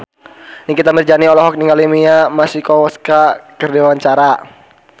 Nikita Mirzani olohok ningali Mia Masikowska keur diwawancara